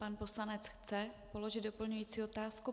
Pan poslanec chce položit doplňující otázku.